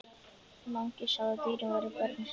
Mangi sagði að dýrin væru börnin sín.